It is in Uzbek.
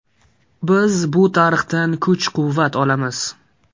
Biz bu tarixdan kuch-quvvat olamiz.